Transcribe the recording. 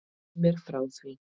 Segðu mér frá því?